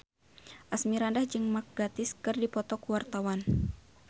Asmirandah jeung Mark Gatiss keur dipoto ku wartawan